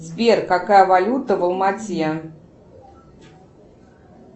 сбер какая валюта в алма ате